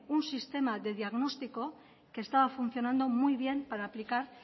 un sistema de diagnóstico que estaba funcionando muy bien para aplicar